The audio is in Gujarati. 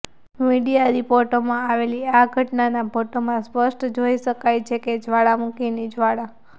મીડિયા રિપોર્ટોમાં આવેલી આ ઘટનાના ફોટામાં સ્પષ્ટ જોઇ શકાય છે કે જ્વાળામુખીની જ્વાળા